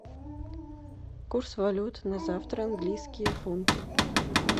курс валют на завтра английские фунты